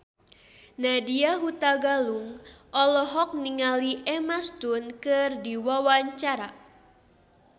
Nadya Hutagalung olohok ningali Emma Stone keur diwawancara